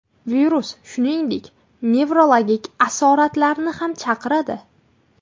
Virus, shuningdek, nevrologik asoratlarni ham chaqiradi.